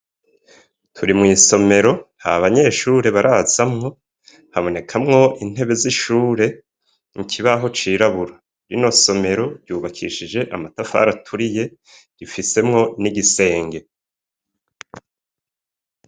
Turi mw'isomero, nta banyeshure barazamwo, habonekamwo intebe z'ishure, ikibaho cirabura. Rino somero ryubakishijwe amatafari aturiye, rifisemwo nigisenge.